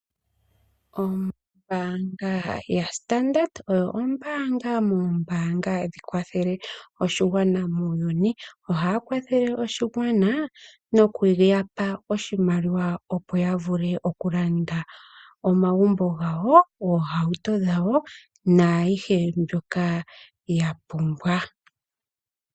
Ombaanga yaStandard oyo ombanga yomoombanga hadhi kwathele aakwashigwana muuyuni. Ohaya kwathele aakwashigwana nokuya pa oshimaliwa ya vule okulanda omagumbo gawo, oohauto dhawo naayihe mbyoka ya pumbwa.